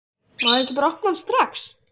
Má ég ekki bara opna hann strax?